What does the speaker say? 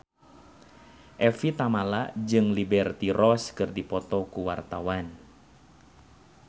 Evie Tamala jeung Liberty Ross keur dipoto ku wartawan